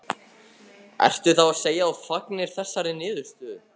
Fréttamaður: Ertu þá að segja að þú fagnir þessari niðurstöðu?